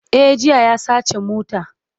E, jiya ya saci mota.